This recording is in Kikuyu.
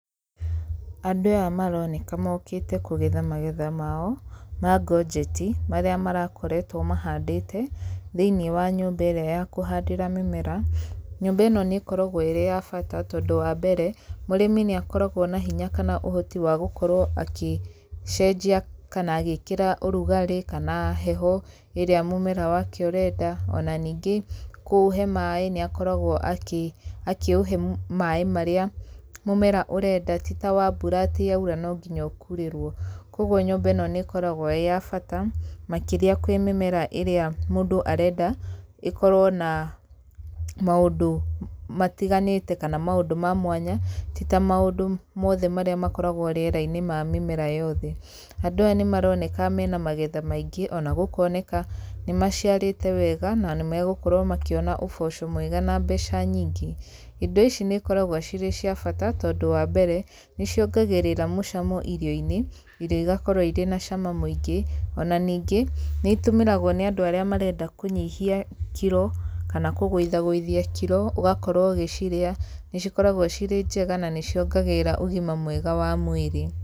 Andũ aya maroneka mokĩte kũgetha magetha mao ma Ngojeti marĩa marakoretwo mahandĩte thĩiniĩ wa nyũmba ĩrĩa ya kũhandĩra mĩmera. Nyũmba ĩno nĩkoragwo ĩrĩ ya bata tondũ wa mbere, mũrĩmi nĩakoragwo na hinya kana ũhoti wa gũkorwo agĩcenjia kana agĩkĩra ũrugarĩ kana heho ĩrĩa mũmera wake ũrenda. Ona ningĩ kũũhe maaĩ nĩakoragwo akĩũhe maaĩ marĩa mũmera ũrenda ti ta wa mbura atĩ yaura nonginya ũrerwo. Kũoguo nyũmba ĩno nĩkoragwo ĩ ya bata, makĩria kwĩ mĩmera ĩrĩa mũndũ arenda ĩkorwo na maũndũ matiganĩte kana maũndũ ma mwanya, ti ta maũndũ mamwe marĩa makoragwo rĩera-inĩ ma mĩmera yothe. Andũ aya nĩmaroneka mena magetha maingĩ, kana gũkoneka ĩ maciarĩte wega kana gũkorwo makĩona ũboco mwega na mbeca nyingĩ. Indo ici nĩikoragwo cirĩ cia bata tondũ ũndũ wa mbere, nĩciongagĩrĩra mũcamo irio-inĩ, irio igakorwo cina cama mũingĩ. Ona ningĩ nĩitũmĩragwo nĩ andũ arĩa marenda kũnyihia kiro kana kũgũithagũithia kiro, ũgakorwo ũgĩciria. Ni cikoragwo cirĩ njega na nĩ ciongagĩrĩra ũgima mwega wa mwĩrĩ.